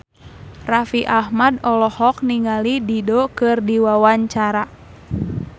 Raffi Ahmad olohok ningali Dido keur diwawancara